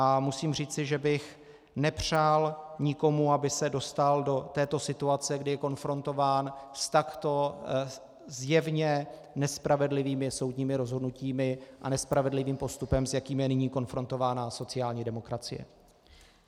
A musím říci, že bych nepřál nikomu, aby se dostal do této situace, kdy je konfrontován s takto zjevně nespravedlivými soudními rozhodnutími a nespravedlivým postupem, s jakým je nyní konfrontována sociální demokracie.